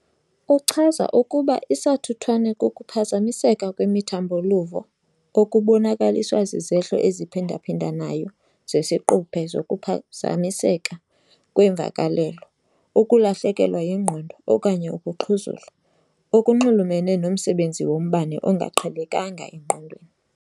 Uchaza ukuba isathuthwane kukuphazamiseka kwemithambo-luvo okubonakaliswa zizehlo eziphindaphindanayo zesiquphe zokuphazamiseka kweemvakalelo, ukulahlekelwa yingqondo okanye ukuxhuzula, okunxulumene nomsebenzi wombane ongaqhelekanga engqondweni.